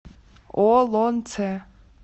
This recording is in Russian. олонце